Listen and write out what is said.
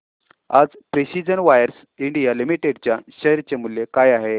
आज Precision Wires India Limited च्या share चे मूल्य काय आहे